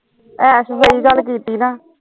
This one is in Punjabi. ਐਸ਼ ਵਾਲੀ ਗੱਲ ਕੀਤੀ ਨਾ